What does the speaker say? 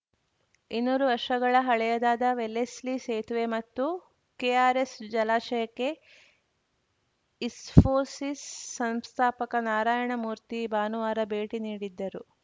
ಇನ್ನೂರು ವರ್ಷಗಳ ಹಳೆಯದಾದ ವೆಲ್ಲೆಸ್ಲಿ ಸೇತುವೆ ಮತ್ತು ಕೆಆರ್‌ಎಸ್‌ ಜಲಾಶಯಕ್ಕೆ ಇಸ್ಫೋಸಿಸ್ ಸಂಸ್ಥಾಪಕ ನಾರಾಯಣ ಮೂರ್ತಿ ಭಾನುವಾರ ಭೇಟಿ ನೀಡಿದ್ದರು